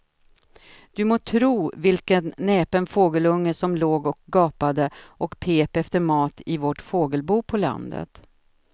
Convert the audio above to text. Du må tro vilken näpen fågelunge som låg och gapade och pep efter mat i vårt fågelbo på landet.